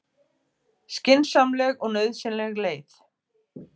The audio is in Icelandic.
Skynsamleg og nauðsynleg leið